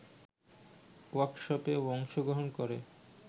ওয়ার্কশপে অংশগ্রহণ করে